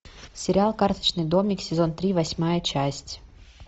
сериал карточный домик сезон три восьмая часть